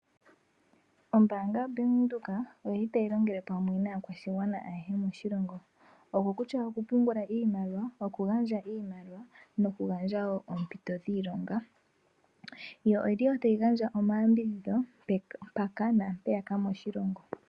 Ombaanga yoBank Windhoek otayi longele pamwe naakwashigwana ayehe moshilongo okutya okupungula iimaliwa, okugandja iimaliwa nokugandja wo oompito dhiilonga. Otayi gandja wo omayambidhidho mpaka naampeyaka moshilongo.